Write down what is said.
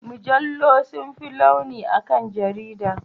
Mujallu sun fi launi akan jaridu.